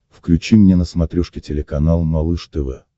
включи мне на смотрешке телеканал малыш тв